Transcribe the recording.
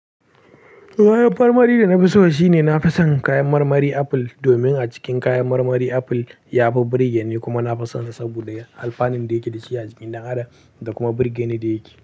Kayan marmari da na fi so shine na fi son kayan marmari apple. Domin a cikin kayan marmari apple yafi birge ni kuma na fi sonsa saboda alfanin da yake da shi a jikin dan adam da kuma birgeni da yake.